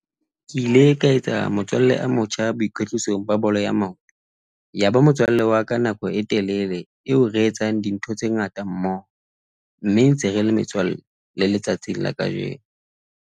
Ke ile ka etsa motswalle a motjha boikwetlisong ba bolo ya maoto, yaba motswalle wa ka nako e telele eo re etsang dintho tse ngata mmoho mme ntse re le metswalle le letsatsi la kajeno.